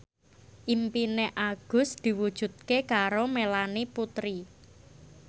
impine Agus diwujudke karo Melanie Putri